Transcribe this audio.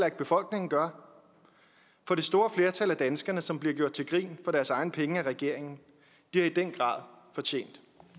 at befolkningen gør for det store flertal af danskerne som bliver gjort til grin for deres egne penge af regeringen har i den grad fortjent